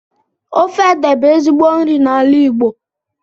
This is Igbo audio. Ofe ede bú ezigbo nri n'ala Igbo